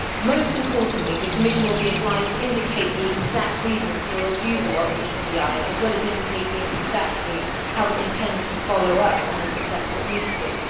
Most importantly, the Commission will be obliged to indicate the exact reasons for refusal of an ECI, as well as indicating exactly how it intends to follow up on a successful initiative.